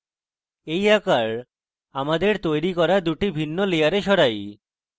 এই আকার আমাদের তৈরী করা দুটি ভিন্ন layers সরাই